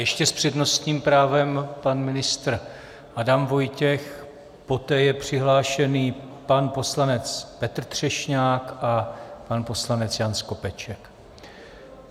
Ještě s přednostním právem pan ministr Adam Vojtěch, poté je přihlášený pan poslanec Petr Třešňák a pan poslanec Jan Skopeček.